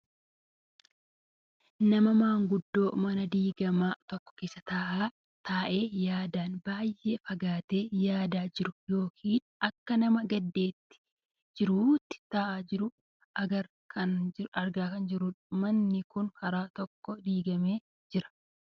Nama maanguddoo mana diiggamaa tokko keessa taa'ee yaadaan baayyee fagaatee yaadaa jiru yookaan akka nama gaddaa jiruutti taa'aa jiru argaa kan jirrudha. Manni kun karaa tokkoo diiggamee kan jiru dha.